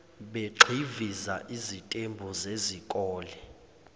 begxiviza izitembu zezikole